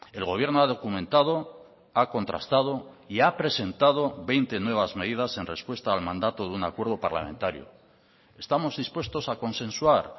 el gobierno ha documentado ha contrastado y ha presentado veinte nuevas medidas en respuesta al mandato de un acuerdo parlamentario estamos dispuestos a consensuar